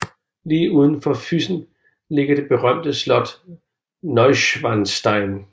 Lige uden for Füssen ligger det berømte slot Neuschwanstein